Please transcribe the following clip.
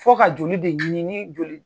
Fo ka joli de ɲini ni joli